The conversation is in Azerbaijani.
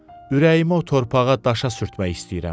Ürəyimi o torpağa daşa sürtmək istəyirəm.